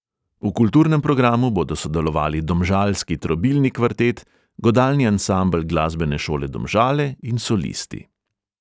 V kulturnem programu bodo sodelovali domžalski trobilni kvartet, godalni ansambel glasbene šole domžale in solisti.